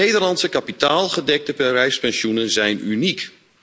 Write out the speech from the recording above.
De Nederlandse kapitaalgedekte bedrijfspensioenen zijn uniek!